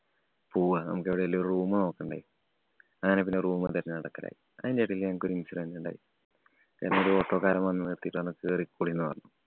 പോവാം. നമുക്ക് എവിടേലും ഒരു room നോക്കണ്ടേ. അങ്ങനെ പിന്നെ room തെരഞ്ഞ് നടക്കലായി. അതിനിടയില് ഞങ്ങക്ക് ഒരു incident ഉണ്ടായി. ഏതോ ഒരു ഓട്ടോക്കാരന്‍ വന്നു നിര്‍ത്തിയിട്ടു പറഞ്ഞു കേറിക്കൊളിന്‍ പറഞ്ഞു.